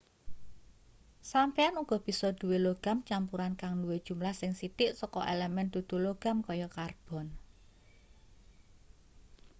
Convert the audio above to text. sampeyan uga bisa duwe logam campuran kang duwe jumlah sing sithik saka elemen dudu logam kaya karbon